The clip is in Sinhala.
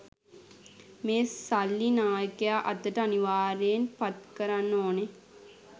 මේ සල්ලි නායකයා අතට අනිවාර්යයෙන් පත්කරන්න ඕනෙ